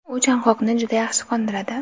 u chanqoqni juda yaxshi qondiradi.